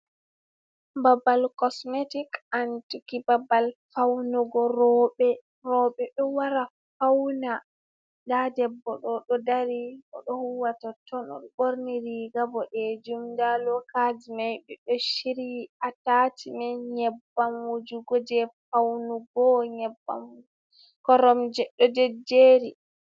Babal cosmetic anduki babal faunugo roɓɓe, roɓɓe ɗo wara fauna, nda debbo ɗo ɗo dari oɗo huwa toton o ɗo ɓorni riga boɗejum nda lokaje mai ɓe ɗo shiri ataci men, nyebbam wujugo je faunugo, nyebbam koromje ɗo je je ri.